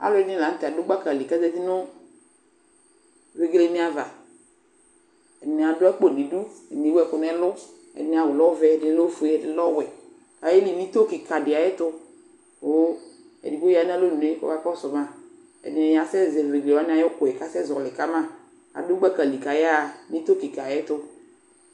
Alʋɛdɩnɩ la nʋtɛ dʋ gbaka li k'azati nʋ vegelenɩ ava; Ɛdɩnɩ adʋ alpo n'idu , ɛdɩnɩ ewu ɛkʋ n'ɛlʋ , ɛdɩnɩ awʋ lɛ ɔvɛ , ɛdɩnɩ lɛ ofue ɛdɩnɩ lɛ ɔwɛ Ayeli n'ito kɩkadɩ ayɛtʋ ; kʋ edigbo ya n'alonue k'ɔka kɔsʋ ma Ɛdɩnɩ asɛ zɛ vegelewanɩ ay'ukʋɛ k'asɛ zɔɔlɩ ka ma k'adʋ gbakali k'ayaɣa n'ito kɩkaayɛtʋ